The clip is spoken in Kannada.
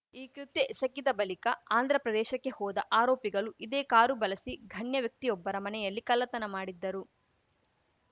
ಈ ಕೃತ್ಯ ಎಸಗಿದ ಬಲಿಕ ಆಂಧ್ರಪ್ರದೇಶಕ್ಕೆ ಹೋದ ಆರೋಪಿಗಲು ಇದೇ ಕಾರು ಬಲಸಿ ಘಣ್ಯ ವ್ಯಕ್ತಿಯೊಬ್ಬರ ಮನೆಯಲ್ಲಿ ಕಲ್ಲತನ ಮಾಡಿದ್ದರು